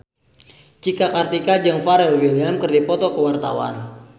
Cika Kartika jeung Pharrell Williams keur dipoto ku wartawan